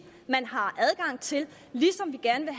man har adgang til ligesom vi gerne